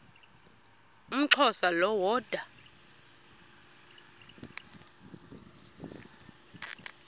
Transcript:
umxhosa lo woda